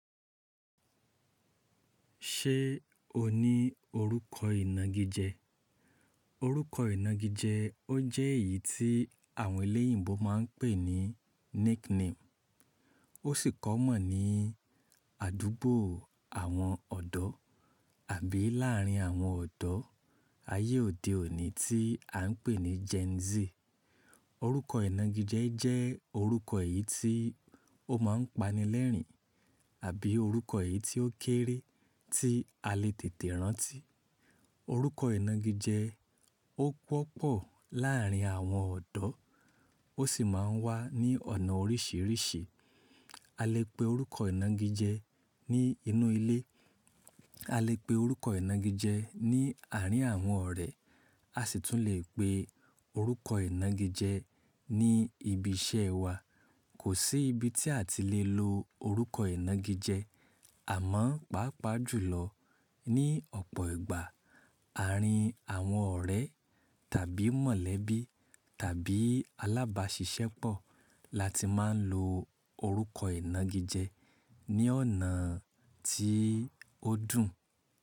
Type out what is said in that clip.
Ṣé o ní orúkọ ìnagijẹ? Orúkọ ìnagijẹ ó jẹ́ èyí tí àwọn eléyìíbo máa ń pè ní nickname. Ó sì kọ́ mọ̀ ní àdúgbò àwọn ọ̀dọ́ àbí láàárín àwọn ọ̀dọ́ ayé òde òní tí à ń pè ní Gen Z. Orúkọ ìnagijẹ jẹ́ orúkọ èyí tí ó máa ń pani lẹ́rìn-ín àbí orúkọ èyí tí ó kéré tí a lè tètè rántí. Orúkọ ìnagijẹ ó pọ̀ pọ̀ láàárín àwọn ọ̀dọ́ ó sì máa ń wà ní ọ̀nà oríṣiríṣi. A lè pe orúkọ ìnagijẹ ní inú ilé, a lè pe orúkọ ìnagijẹ ní àárín àwọn ọ̀rẹ́, a sì tún lè pe orúkọ ìnagijẹ ní ibi iṣẹ́ wa. Kò sí ibi tí a ti lè lo orúkọ ìnagijẹ, àmọ́ pàápàá jùlọ ní ọ̀pọ̀ ìgbà, àárín àwọn ọ̀rẹ́ tàbí mọ̀lẹ́bí tàbí alábàáṣiṣẹ́pọ̀ la ti máa ń lo orúkọ ìnagijẹ ní ọ̀nà tí ó dùn.